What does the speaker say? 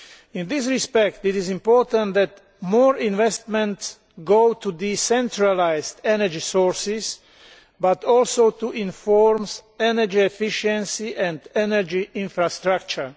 In this respect, it is important that more investment goes not just to the centralised energy sources but also to other forms of energy efficiency and energy infrastructure.